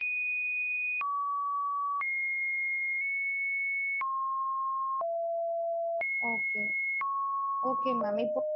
Okay. அந்த cake ல வந்து பாத்தீங்கனா கொழந்தையோட picture வர மாதிரி எனக்கு பண்ணி கொடுங்க. photo கூட நா send பண்ணிடறேன். அந்த